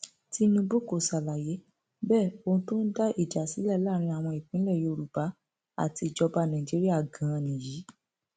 tinubu kò ṣàlàyé bẹẹ ohun tó ń dá ìjà sílẹ láàrin àwọn ìpínlẹ yorùbá àti ìjọba nàìjíríà ganan nìyí